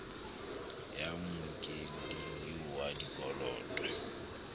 ya mmokelli eo wa dikoloto